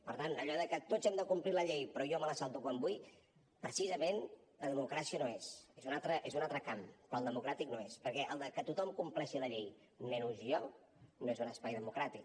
per tant allò de que tots hem de complir la llei però jo me la salto quan vull precisament de democràcia no és és un altre camp però el democràtic no és perquè el de que tothom compleixi la llei menys jo no és un espai democràtic